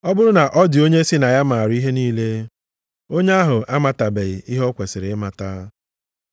Ọ bụrụ na ọ dị onye sị na ya maara ihe niile, onye ahụ amatabeghị ihe o kwesiri ịmata.